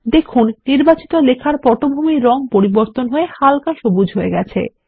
দেখুন নির্বাচিত লেখার পটভূমির রঙ পরিবর্তন হয় হাল্কা সবুজ হয়ে গেছে